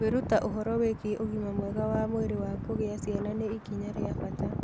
Kwĩruta ũhoro wĩgiĩ ũgima mwega wa mwĩrĩ wa kũgĩa ciana nĩ ikinya rĩa bata.